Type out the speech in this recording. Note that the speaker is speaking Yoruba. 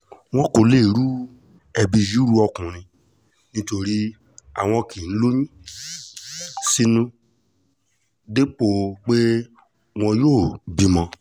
wọn ò lè di ẹbí yìí ru ọkùnrin nítorí àwọn kì í lóyún sínú dépò pé wọn yóò bímọ